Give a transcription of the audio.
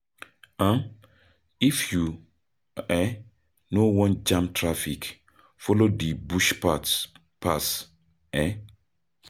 um If you um no wan jam traffic, follow di bush path pass. um